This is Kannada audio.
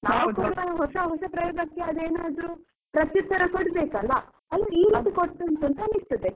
ನಾವು ಹೊಸ ಹೊಸ ಪ್ರಯೋಗಕ್ಕೆ ಆದು ಏನಾದ್ರು ಪ್ರತ್ಯುತ್ತರ ಕೊಡ್ ಬೇಕಲ್ಲ ಅದೇ ಈ ರೀತಿ ಕೊಡ್ತಾ ಉಂಟು ಅಂತ ಅನಿಸುತ್ತದೆ.